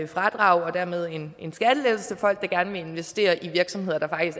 fradrag og dermed en skattelettelse til folk der gerne vil investere i virksomheder der